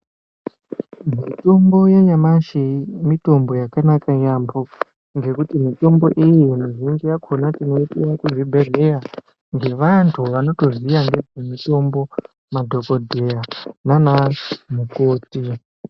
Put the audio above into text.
Mitombo yanyamashi mitombo yakanaka yaambo, nekuti mitombo iyi mizhinji yakona tinoipiva kuzvibhedhleya. Ngevantu vanotoziya ngezvemitombo madhogodheya nanamukoti.